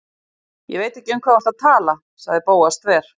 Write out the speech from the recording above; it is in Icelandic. Ég veit ekki um hvað þú ert að tala- sagði Bóas þver